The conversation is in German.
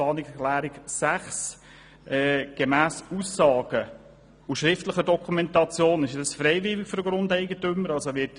Gemäss Aussagen und schriftlichen Dokumentationen ist das für den Grundeigentümer freiwillig.